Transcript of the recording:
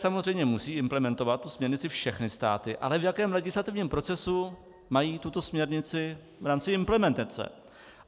samozřejmě musí implementovat tu směrnici všechny státy, ale v jakém legislativním procesu mají tuto směrnici v rámci implementace.